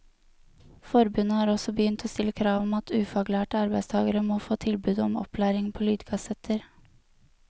Forbundet har også begynt å stille krav om at ufaglærte arbeidstagere må få tilbud om opplæring på lydkassetter.